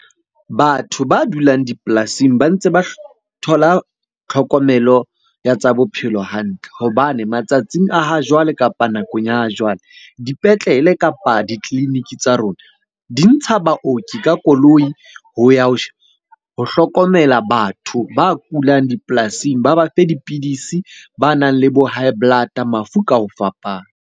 Batho ba dulang dipolasing ba ntse ba thola tlhokomelo ya tsa bophelo hantle. Hobane matsatsing a ha jwale kapa nakong ya jwale, dipetlele kapa ditleliniki tsa rona di ntsha baoki ka koloi ho ya ho hlokomela batho ba kulang dipolasing. Ba ba fe dipidisi banang le bo high blood-a, mafu ka ho fapana.